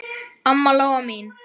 Amma Lóa mín.